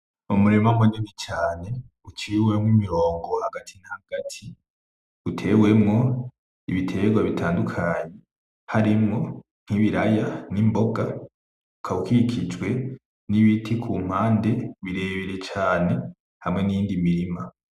Umurima munini cane, uciwemwo imirongo hagati na hagati, utewemwo ibiterwa bitandukanye. Harimwo nkibiraya, nimboga. Ukaba ukikijwe nibiti kumpande birebire cane, hamwe niyindi mirima.